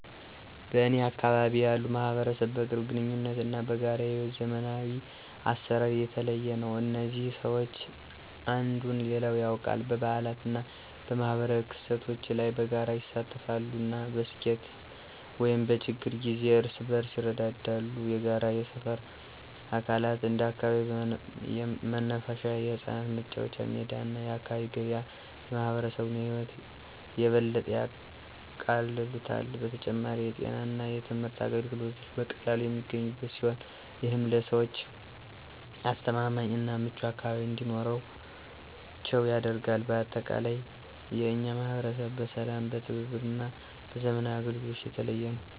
በእኔ አካባቢ ያለው ማህበረሰብ በቅርብ ግንኙነት እና በጋራ የሕይወት ዘመናዊ አሰራር የተለየ ነው። እዚህ ሰዎች አንዱን ሌላው ያውቃል፣ በበዓላት እና በማኅበራዊ ክስተቶች ላይ በጋራ ይሳተፋሉ፣ እና በስኬት ወይም በችግር ጊዜ እርስ በርስ ይረዳዋል። የጋራ የሰፈር አካላት እንደ አካባቢው መናፈሻ፣ የህጻናት መጫወቻ ሜዳ እና የአካባቢ ገበያ የማህበረሰቡን ህይወት የበለጠ ያቃልሉታል። በተጨማሪም፣ የጤና እና የትምህርት አገልግሎቶች በቀላሉ የሚገኙበት ሲሆን፣ ይህም ለሰዎች አስተማማኝ እና ምቹ አካባቢ እንዲኖራቸው ያደርጋል። በአጠቃላይ፣ የእኛ ማህበረሰብ በሰላም፣ በትብብር እና በዘመናዊ አገልግሎቶች የተለየ ነው።